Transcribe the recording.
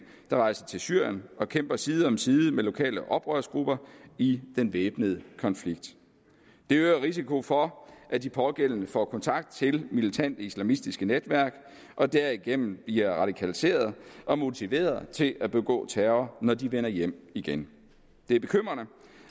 der rejser til syrien og kæmper side om side med lokale oprørsgrupper i den væbnede konflikt det øger risikoen for at de pågældende får kontakt til militante islamistiske netværk og derigennem bliver radikaliserede og motiverede til at begå terror når de vender hjem igen det er bekymrende